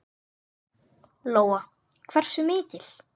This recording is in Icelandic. Lóa: Hversu mikil?